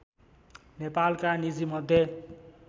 नेपालका नीजिमध्ये